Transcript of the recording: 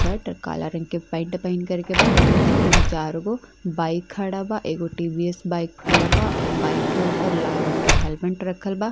Shirt काला रंग के पेंट पहन करके बा। अर तीन चार गो बाइक खड़ा बा। एगो टीवीएस बाइक खड़ा बा। बाइक के ऊपर लाल रंग का हेलमेट रखल बा।